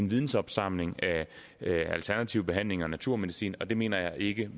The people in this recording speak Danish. vidensopsamling af alternativ behandling og naturmedicin og det mener jeg ikke